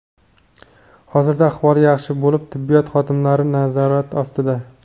Hozirda ahvoli yaxshi bo‘lib tibbiyot xodimlari nazorati ostida.